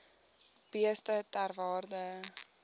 beeste ter waarde